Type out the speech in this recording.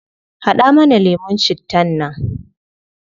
Hada mana lemun cittan nan